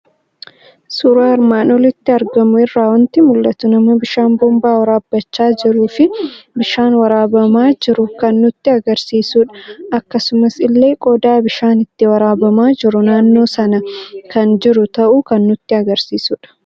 Suuraa armaan olitti argamu irraa waanti mul'atu; nama bishaan boombaa waraabbachaa jirufi bishaan waraabamaa jiru, kan nutti agarsiisudha. Akkasumas illee qodaa bishaan ittiin waraabama jiru naannoo sana kan jiru ta'uu kan nutti agarsiisudha.